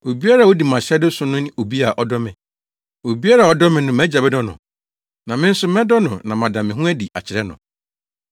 Obiara a odi mʼahyɛde so no ne obi a ɔdɔ me. Obiara a ɔdɔ me no mʼAgya bɛdɔ no, na me nso mɛdɔ no na mada me ho adi akyerɛ no.”